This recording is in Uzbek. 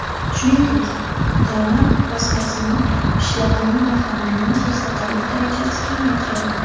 Shuningdek, tomat pastasining, pishloqning va xamirning kislotalilik darajasi kamaytirildi.